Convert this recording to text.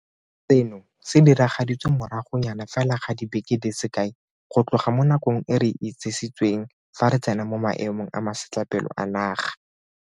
Seno se diragaditswe moragonyana fela ga dibeke di se kae go tloga mo nakong e re itsisitsweng fa re tsena mo Maemong a Masetlapelo a Naga.